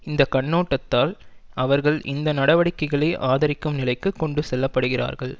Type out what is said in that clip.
இந்த கண்ணோட்டத்தால் அவர்கள் இந்த நடவடிக்கைகளை ஆதரிக்கும் நிலைக்கு கொண்டு செல்லப்படுகிறார்கள்